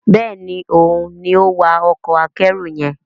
Béèni òun ní o wá Ọkọ̀ akẹ́rù yen.